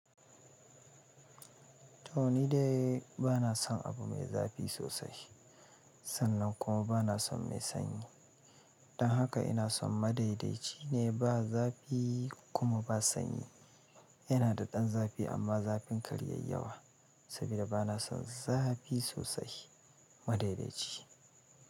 To ni dai ba na son abu mai zafi sosai, sannan kuma ba na son mai sanyi. Don haka ina son madaidaici ne ba zafi kuma ba sanyi. Yana da ɗan zafi amma zafin kar ya yawa saboda bana son zafi sosai. Madaidaici.